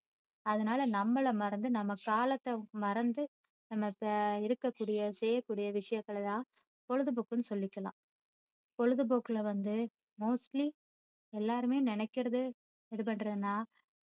அதனால நம்மளை மறந்து நம்ம காலத்தை மறந்து நம்ம இப்போ இருக்க கூடிய செய்யகூடிய விஷயங்களை தான் பொழுதுபோக்குன்னு சொல்லிக்கலாம் பொழுதுபோக்குல வந்து mostly எல்லாருமே நினைக்குறது இது பண்றதுன்னா,